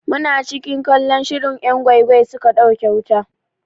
Muna cikin kallon shirin 'yan gwai gwai suka ɗauke wuta.